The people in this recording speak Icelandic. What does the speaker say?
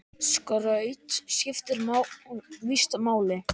Skraut skiptir víst máli!